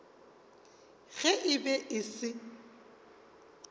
ge e be e se